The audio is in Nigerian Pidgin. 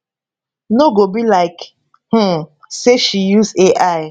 no go be like um say she use ai